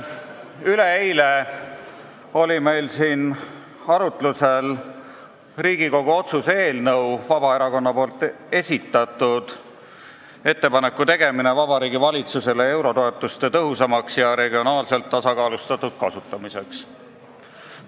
Üleeile oli meil siin arutlusel Vabaerakonna esitatud Riigikogu otsuse "Ettepaneku tegemine Vabariigi Valitsusele eurotoetuste tõhusamaks ja regionaalselt tasakaalustatud kasutamiseks" eelnõu.